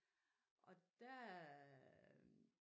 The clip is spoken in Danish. Og der øh